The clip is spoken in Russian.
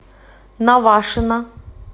навашино